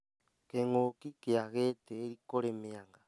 Kĩng'uki kĩa gĩtĩĩri kũrĩ mĩanga